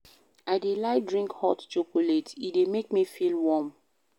I dey like drink hot chocolate, e dey make me feel warm.